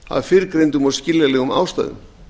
af fyrrgreindum og skiljanlegum ástæðum